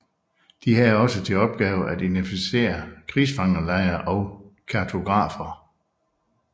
De havde også til opgave at identificere krigsfangelejre og kartografere